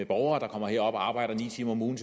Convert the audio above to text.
borgere der kommer herop og arbejder ni timer om ugen